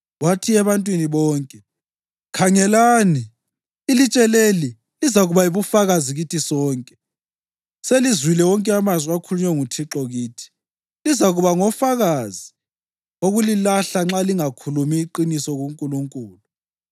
Wathi ebantwini bonke, “Khangelani! Ilitshe leli lizakuba yibufakazi kithi sonke. Selizwile wonke amazwi akhulunywe nguThixo kithi. Lizakuba ngofakazi wokulilahla nxa lingakhulumi iqiniso kuNkulunkulu.”